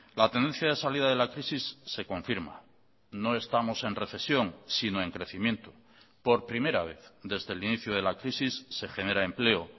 la tendencia de salida de la crisis se confirma no estamos en recesión sino en crecimiento por primera vez desde el inicio de la crisis se genera empleo